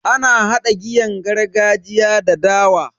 Ana hada giyan gargajiya da dawa.